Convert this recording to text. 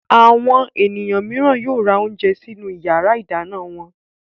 Àwọn ènìyàn mìíràn yóò ra oúnjẹ sinú ìyàrá-ìdáná wọn.